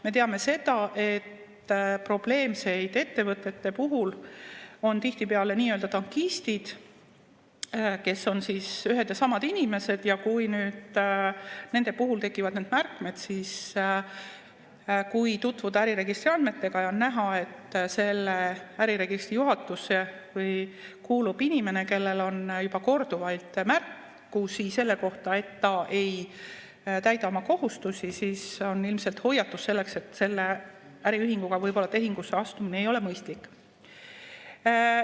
Me teame seda, et probleemsete ettevõtete puhul on tihtipeale nii-öelda tankistid, kes on ühed ja samad inimesed, ja kui nüüd nende puhul tekivad need märkmed, siis kui tutvuda äriregistriandmetega ja on näha, et selle juhatusse kuulub inimene, kellel on juba korduvalt märkusi selle kohta, et ta ei täida oma kohustusi, siis on see ilmselt hoiatus, et selle äriühinguga tehingusse astumine ei ole võib-olla mõistlik.